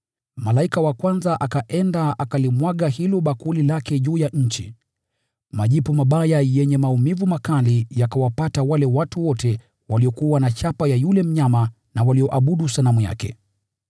Malaika wa kwanza akaenda akalimwaga hilo bakuli lake juu ya nchi. Majipu mabaya yenye maumivu makali yakawapata wale watu wote waliokuwa na chapa ya yule mnyama na walioabudu sanamu yake.